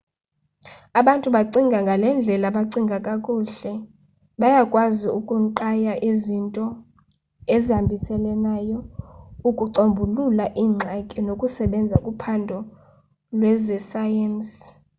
abantu abacinga ngale ndlela bacinga kakuhle bayakwazi ukunqaya izinto ezihambiselanayo ukucombulula iingxaki nokusebenza kuphando lwezesayensi